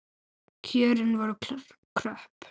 Kjörin voru kröpp.